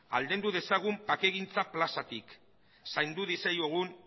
aldendu dezagun bakegintza plazatik zaindu diezaiogun